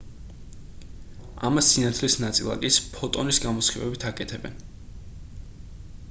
ამას სინათლის ნაწილაკის ფოტონის გამოსხივებით აკეთებენ